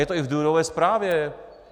Je to i v důvodové zprávě.